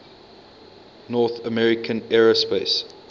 north american aerospace